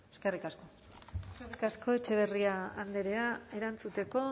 eskerrik asko eskerrik asko etxebarria andrea erantzuteko